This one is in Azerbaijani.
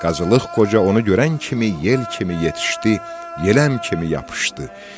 Qazılıq Qoca onu görən kimi yel kimi yetişdi, yeləm kimi yapışdı.